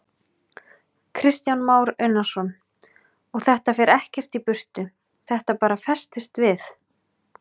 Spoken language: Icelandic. Kristján Már Unnarsson: Og þetta fer ekkert í burtu, þetta bara festist við?